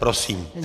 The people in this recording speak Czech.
Prosím.